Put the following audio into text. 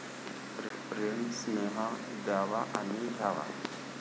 प्रेम, स्नेह द्यावा आणि घ्यावा.